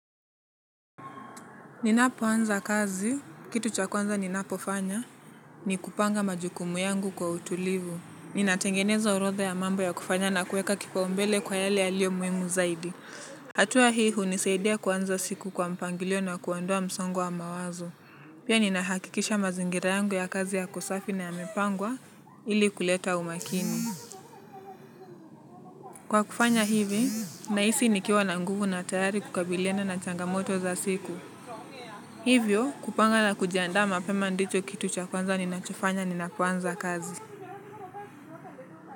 Ninapoanza kazi, kitu cha kwanza ninapofanya, ni kupanga majukumu yangu kwa utulivu. Ninatengeneza orodha ya mambo ya kufanya na kuweka kipaumbele kwa yale yaliyo muhimu zaidi. Hatua hii hunisaidia kuanza siku kwa mpangilio na kuondoa msongo wa mawazo. Pia ninahakikisha mazingira yangu ya kazi yako safi na yamepangwa ili kuleta umakini. Kwa kufanya hivi, nahisi nikiwa na nguvu na tayari kukabiliana na changamoto za siku. Hivyo kupanga na kujiandaa mapema ndicho kitu cha kwanza ninachofanya ninapoanza kazi.